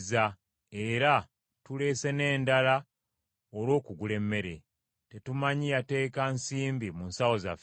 era tuleese n’endala olw’okugula emmere. Tetumanyi yateeka nsimbi mu nsawo zaffe.